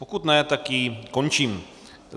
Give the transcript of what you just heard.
Pokud ne, tak ji končím.